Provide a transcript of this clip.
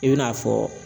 I bɛn'a fɔ